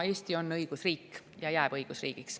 Eesti on õigusriik ja jääb õigusriigiks.